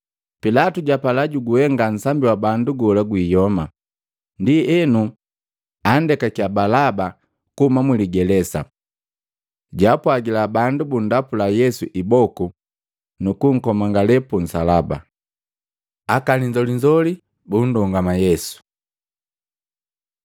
Pilatu japala, jwapala nsambi wa bandu gola gwiyoma, ndienu andekakya Balaba kuhuma muligelesa. Jwaapwgila bandu bunndapula Yesu iboku nukukomangale punsalaba. Aka linzolinzoli bundongama Yesu Matei 27:27-31; Yohana 19:2-3